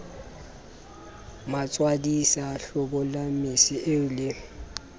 matswadisa hlobolang mese eo le